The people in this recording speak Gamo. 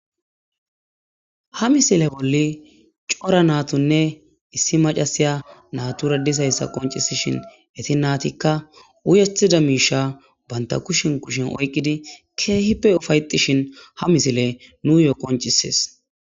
Ha misile bolli cora naatunne issi macasiya natura disayssa qoncisishin eti naatikka wuyethida miisha banta kushin kushin oyqqidi keehippe ufayetishin ha misile nuyo qoncisees.